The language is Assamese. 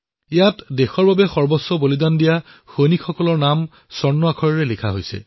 আমাৰ দেশৰ বাবে সৰ্বোচ্চ বলিদান দিয়া সৈনিকৰ নামৰ সোণালী আখৰেৰে লিখা হৈছে